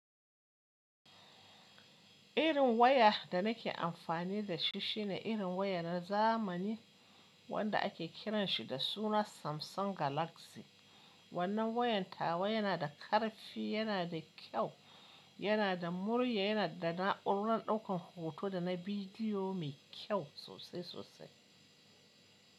Irin waya da nake amfani da shi shine irin waya na zamani wanda ake kiranshi da suna Samsung Galaxy. Wannan wayan tawa yana da ƙarfi, yana da kyau, yana da murya, yana da na'urar ɗaukan hoto da na bidiyo mai kyau sosai sosai.